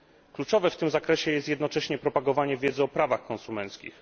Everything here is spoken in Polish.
Kluczowe w tym zakresie jest jednocześnie propagowanie wiedzy o prawach konsumenckich.